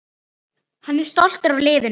Hann er stoltur af liðinu.